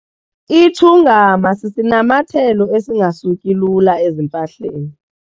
Itshungama sisinamathelo esingasuki lula ezimpahleni.